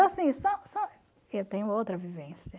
Então assim, eu tenho outra vivência.